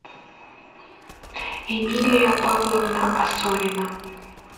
эмилия павловна осорина